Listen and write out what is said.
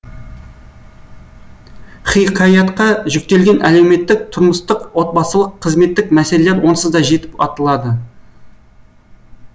хикаятқа жүктелген әлеуметтік тұрмыстық отбасылық қызметтік мәселелер онсыз да жетіп артылады